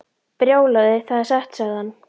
Brjálæði, það er satt sagði hann.